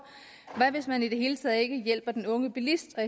hvad hvis man i det hele taget ikke hjælper den unge bilist og